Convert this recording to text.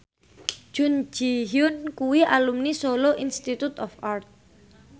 Jun Ji Hyun kuwi alumni Solo Institute of Art